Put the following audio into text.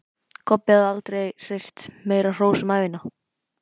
Kobbi hafði aldrei heyrt meira hrós um ævina.